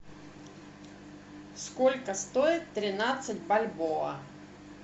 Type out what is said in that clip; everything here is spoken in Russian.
сколько стоит тринадцать бальбоа